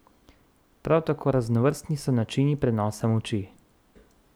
Prav tako raznovrstni so načini prenosa moči.